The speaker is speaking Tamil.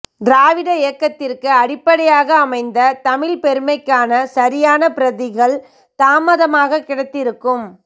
திராவிட இயக்கத்திற்கு அடிப்படையாக அமைந்த தமிழ்ப்பெருமைக்கான சரியான பிரதிகள் தாமதமாக கிடைத்திருக்கும்